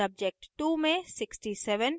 subject2 में 67 और